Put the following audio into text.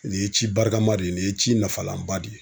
Nin ye ci barikama de ye nin ye ci nafalanba de ye.